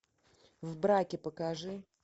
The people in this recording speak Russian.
в браке покажи